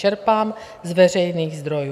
Čerpám z veřejných zdrojů.